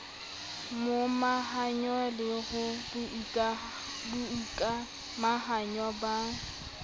momahanyo le ho boikamahanyo ba